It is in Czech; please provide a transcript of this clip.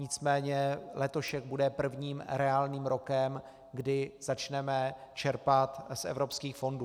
Nicméně letošek bude prvním reálným rokem, kdy začneme čerpat z evropských fondů.